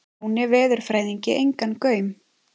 Jóni veðurfræðingi engan gaum.